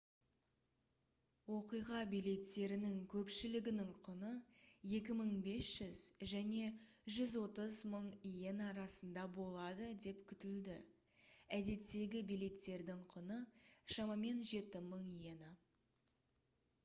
оқиға билеттерінің көпшілігінің құны 2500 және 130 000 иена арасында болады деп күтілді әдеттегі билеттердің құны шамамен 7000 иена